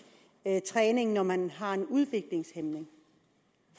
træning når man er udviklingshæmmet